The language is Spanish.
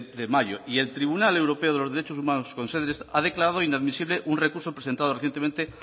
de mayo y el tribunal europeo de los derechos humanos ha declarado inadmisible un recurso presentado recientemente